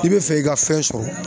I bɛ fɛ i ka fɛn sɔrɔ